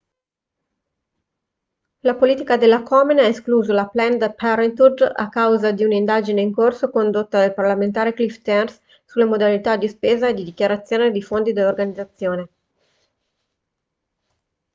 la politica della komen ha escluso la planned parenthood a causa di un'indagine in corso condotta dal parlamentare cliff stearns sulle modalità di spesa e di dichiarazione dei fondi dell'organizzazione